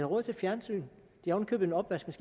råd til fjernsyn de har oven